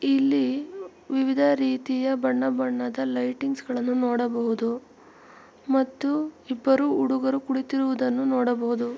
ಇಲ್ಲಿ ವಿವಿಧ ರೀತಿಯ ಬಣ್ಣ ಬಣ್ಣದ ಲೈಟಿಂಗ್ಸ್ ಗಳನ್ನು ನೋಡಬಹುದು ಮತ್ತು ಇಬ್ಬರು ಹುಡುಗರು ಕುಳಿತಿರುವುದನ್ನು ನೋಡಬಹುದು.